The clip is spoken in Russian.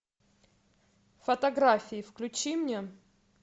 фотографии включи мне